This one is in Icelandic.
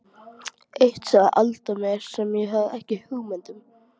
Eitt sagði Alda mér sem ég hafði ekki hugmynd um.